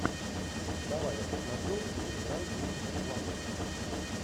давай я посмотрю где играл кристофер пламмер